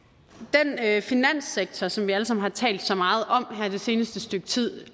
af det finanssektor som vi alle sammen har talt så meget om her det seneste stykke tid